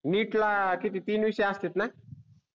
NEET ला किती तीन विषय असतेत न